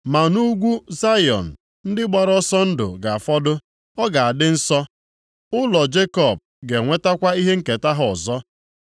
Ma nʼugwu Zayọn ndị gbara ọsọ ndụ ga-afọdụ, ọ ga-adị nsọ, ụlọ Jekọb ga-enwetakwa ihe nketa ha ọzọ.